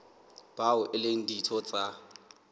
bao e leng ditho tsa